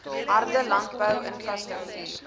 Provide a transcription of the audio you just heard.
harde landbou infrastruktuur